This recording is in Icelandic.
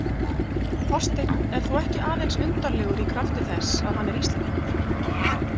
Þorsteinn er þó ekki aðeins undarlegur í krafti þess að hann er Íslendingur.